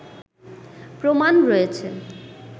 প্রমাণ রয়েছে